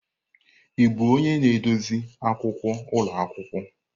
Ị bụ onye na-edozi akwụkwọ ụlọ akwụkwọ?